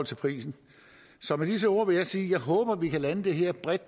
til prisen med disse ord vil jeg sige at jeg håber at vi kan lande det her bredt